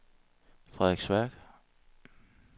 Frederiksværk